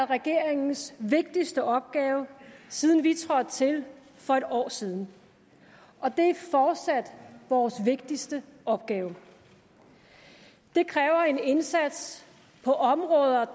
regeringens vigtigste opgave siden vi trådte til for et år siden og det er fortsat vores vigtigste opgave det kræver en indsats på områder der